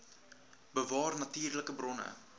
bewaar natuurlike bronne